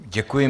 Děkuji.